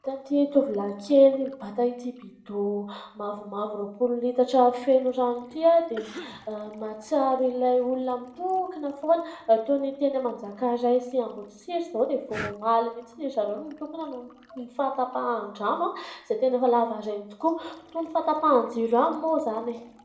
Hitan'itỳ tovolahy kely mibata ity bido mavomavo roapolo metatra feno rano ity dia mahatsiaro ilay olona mitokona foana toy ny teny manjakaray sy amboditsiry izao dia efa omaly mihintsy zareo no nitokona noho ny fahatam-pahan-drano izay tena efa lava rano tokoa toy ny fahatapahan-jiro moa izany